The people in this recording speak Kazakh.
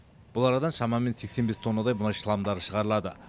бұл арадан шамамен сексен бес тоннадай мұнай шламдары шығарылады